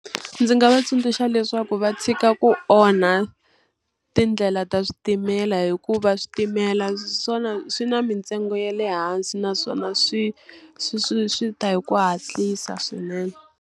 Ndzi nga va tsundzuxa leswaku va tshika ku onha tindlela ta switimela hikuva switimela swona swi na mintsengo ya le hansi naswona swi swi swi swi ta hi ku hatlisa swinene.